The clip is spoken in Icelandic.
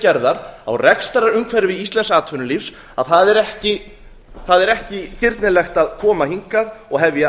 gerðar á rekstrarumhverfi íslensks atvinnulífs að það er ekki girnilegt að koma hingað og hefja